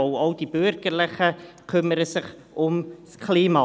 Denn auch die Bürgerlichen kümmern sich ums Klima.